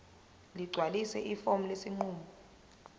ligcwalise ifomu lesinqumo